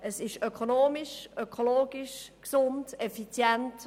Velofahren ist ökonomisch, ökologisch, gesund und effizient.